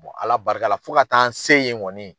Ala barika la fo ka taa an se ye nkɔni